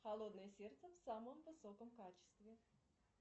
холодное сердце в самом высоком качестве